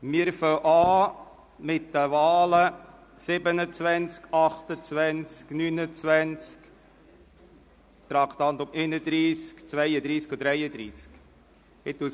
Wir beginnen mit den Wahlen zu den Traktanden 35, 36, 38, 116, 121 und 153.